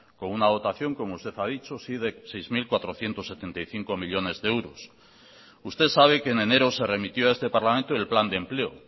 con una dotación como usted ha dicho sí de seis mil cuatrocientos setenta y cinco millónes de euros usted sabe que en enero se remitió a este parlamento el plan de empleo